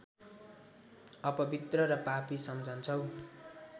अपवित्र र पापी सम्झन्छौ